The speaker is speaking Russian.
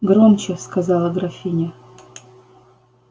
громче сказала графиня